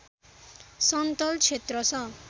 सन्तल क्षेत्र छ